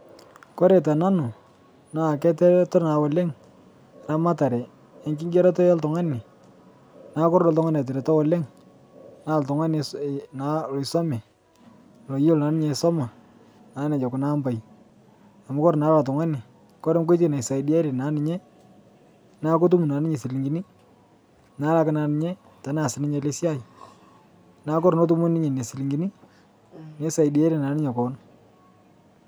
Kore te nanuu naa ketereto naa oleng' ramataree enkigerotoo eltung'ani naa kore duo ltung'ani eteretoo oleng' naa ltung'ani naa loisomee loyolooo naa ninye aisomaa naa nejoo naa kuna ampai amu koree naa ilo tung'ani kore naa nkoitei naisaidiarie naa ninyee naa kotum naa ninye silinkini nalakii naa ninyee teneaz ninye alee siai naa kore naa etumo ninye nenia silinkinii neisaidiarie naa ninyee koon.